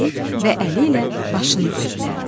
dedi və əli ilə başını göstərdi.